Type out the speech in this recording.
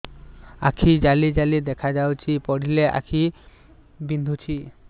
ଆଖି ଜାଲି ଜାଲି ଦେଖାଯାଉଛି ପଢିଲେ ଆଖି ବିନ୍ଧୁଛି